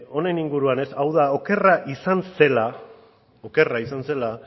honen inguruan ez hau da okerra izan zela okerra izan zela